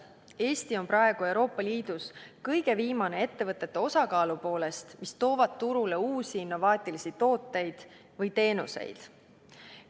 Eesti on praegu Euroopa Liidus kõige viimane nende ettevõtete osakaalu poolest, mis toovad turule uusi innovaatilisi tooteid või teenuseid.